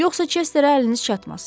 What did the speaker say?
Yoxsa Chesterə əliniz çatmaz.